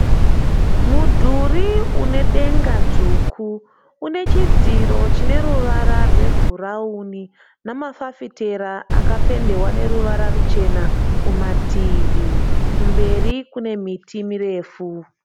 Mudhuri une denga dzvuku une chidziro chine ruvara rwebhurawuni nemafafitera akapendewa neruvara ruchena kumativi. Kumberi kune miti mirefu.